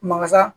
Makasa